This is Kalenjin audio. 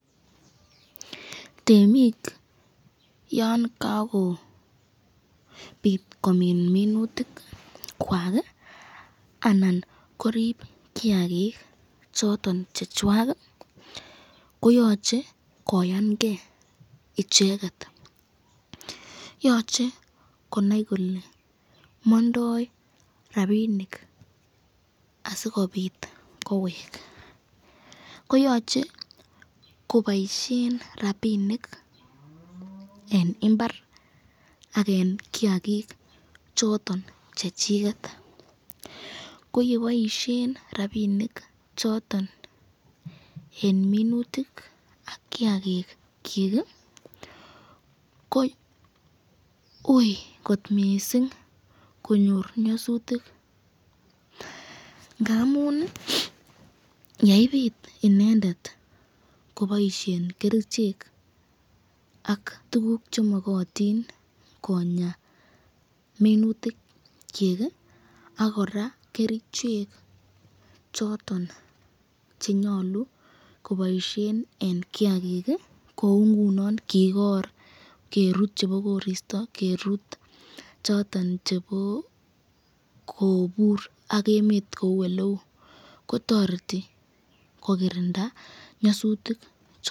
Temik yon kakopit komin minutik kwak anan korib kiakik choton chechwak koyoche koyan ke icheket, yoche konai kole mandoi rapinik asikobit kowek, koyache kobaisyen rapinik eng imbar ak eng kiakik choton Chechiket, ko yeboisyen rapishek choton eng minutik ak kiakik kyik ko ui kot mising konyor nyasutik ngamun yeibit inendet kobaisyen kerichek am tukuk chemakatin Konya minutikyik ,ak koraa kerichek choton chenyalu koboisyen eng kiakik ,kou ingunon kokor , kerut chebo koristo, kerut choton chebo kobur ak emet kou eleu kotareti kokirinda nyasutik.